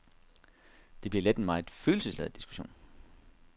Det bliver let en meget følelsesladet diskussion.